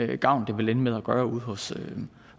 den gavn det vil ende med at gøre ude hos